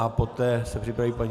A poté se připraví paní...